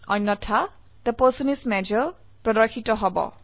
অন্যথা the person is মাজৰ প্ৰদৰ্শিত হব